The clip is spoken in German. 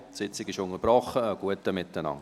Die Sitzung ist unterbrochen, einen guten Appetit.